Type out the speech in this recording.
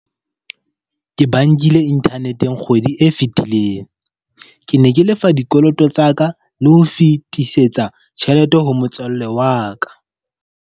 Ke ba nkile internet-eng kgwedi e fetileng, ke ne ke lefa dikoloto tsa ka le ho fetisetsa tjhelete ho motswalle wa ka.